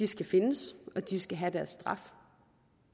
skal findes og de skal have deres straf